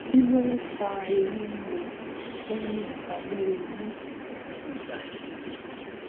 kí ló ń fa eyin riro to n ni ipa lori inu ati ibadi